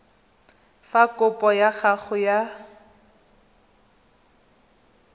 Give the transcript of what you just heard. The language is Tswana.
fa kopo ya gago ya